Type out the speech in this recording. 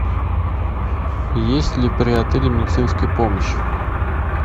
есть ли при отеле медицинская помощь